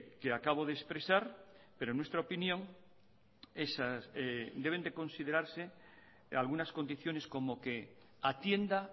que acabo de expresar pero en nuestra opinión deben de considerarse algunas condiciones como que atienda